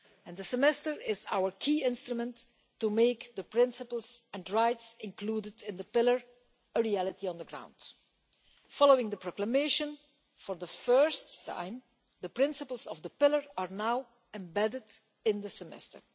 The Semester is our key instrument to make the principles and rights included in the pillar a reality on the ground. Following the proclamation, for the first time the principles of the pillar are now embedded in the Semester.